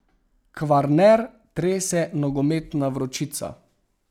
Kvarner trese nogometna vročica.